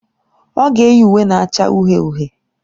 Ọ ga-eyi uwe na-acha uhie uhie.